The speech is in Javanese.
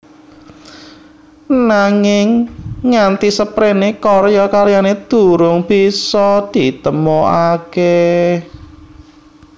Nanging nganti seprene karya karyane durung bisa ditemokake